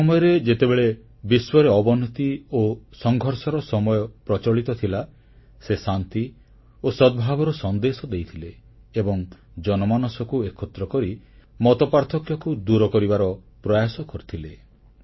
ସେ ସମୟରେ ଯେତେବେଳେ ବିଶ୍ୱରେ ଅବନତି ଓ ସଂଘର୍ଷର ସମୟ ପ୍ରଚଳିତ ଥିଲା ସେ ଶାନ୍ତି ଓ ସଦ୍ଭାବର ସନ୍ଦେଶ ଦେଇଥିଲେ ଏବଂ ଜନମାନସକୁ ଏକତ୍ର କରି ମତପାର୍ଥକ୍ୟକୁ ଦୂର କରିବାର ପ୍ରୟାସ କରିଥିଲେ